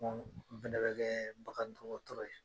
n fɛnɛ bɛ kɛɛ bagan dɔgɔtɔrɔ ye.